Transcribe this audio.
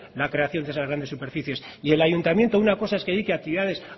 la creación de esas grandes superficies y el ayuntamiento una cosa es que dedique actividades